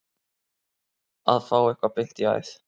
Að fá eitthvað beint í æð